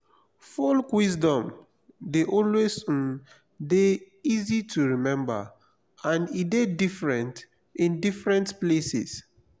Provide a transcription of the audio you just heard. folk wisdom de always um de easy to remember and e de different in different places